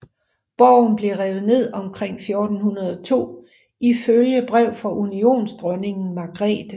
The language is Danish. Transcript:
Borgen blev revet ned omkring 1402 ifølge brev fra unionsdronningen Margrethe